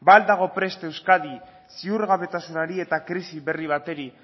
ba al dago prest euskadi ziurgabetasunari eta krisi berri bati